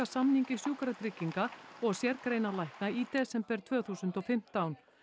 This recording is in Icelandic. samningi Sjúkratrygginga og sérgreinalækna í desember tvö þúsund og fimmtán